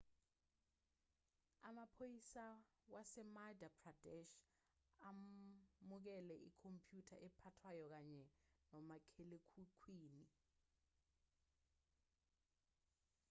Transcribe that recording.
amaphoyisa wasemadhya pradesh amukele ikhompyutha ephathwayo kanye nomakhalekhukhwini